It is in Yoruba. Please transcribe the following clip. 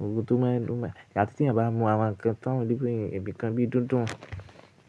Ohun tó máa n lu mẹ, àti tí ẹ bá máa mu àwọn ǹkan tán níbi kan bí i dúndún.